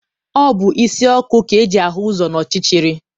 Ọ bụ isi ọkụ ka eji ahụ ụzọ n'ọchịchịrị.